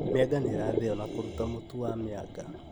Mĩanga nĩirathĩo na kũruta mũtu wa mĩanga